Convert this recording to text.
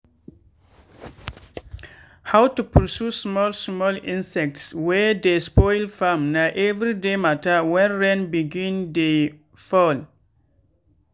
how to pursue small small insects wey dey spoil farm na every day matter when rain begin dey fall.